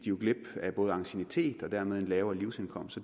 glip af anciennitet og fik dermed en lavere livsindkomst